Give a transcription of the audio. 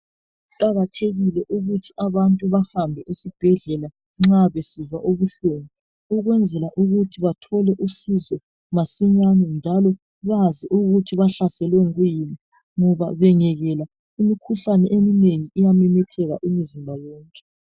Kuqakathekile ukuthi abantu bahambe esibhedlela nxa besizwa ubuhlungu ukwenzela ukuthi bathole usizo masinyane njalo bazi ukuthi bahlaselwe kuyini ngoba bengayekela imikhuhlane eminengi iyamemetheka umzimba wonke.